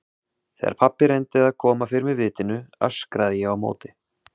Þegar pabbi reyndi að koma fyrir mig vitinu öskraði ég á móti.